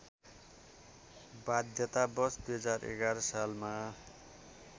बाध्यतावश २०११ सालमा